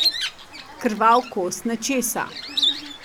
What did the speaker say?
Krvav kos nečesa.